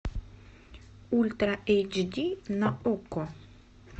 ультра эйч ди на окко